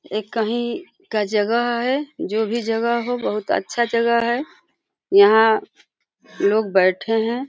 ये कहीं का जगह है। जो भी जगह हो बहुत अच्छा जगह है। यहाँ लोग बैठे है।